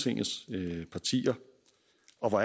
svar på